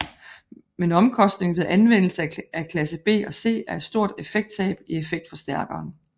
Men omkostningen ved anvendelse af klasse B og C er et stort effekttab i effektforstærken